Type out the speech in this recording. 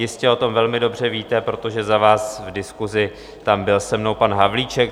Jistě o tom velmi dobře víte, protože za vás v diskusi tam byl se mnou pan Havlíček.